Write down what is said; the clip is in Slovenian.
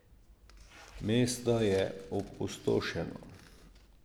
Mesto je opustošeno.